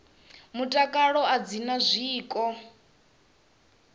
mutakalo a dzi na zwiko